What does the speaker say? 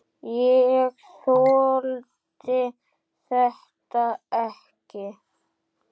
Ég þoldi þetta ekki.